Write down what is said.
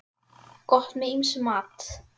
Gott með ýmsum mat.